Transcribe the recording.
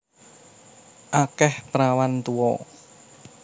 Akeh prawan tuwa